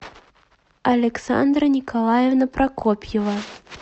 александра николаевна прокопьева